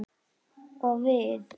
Og við?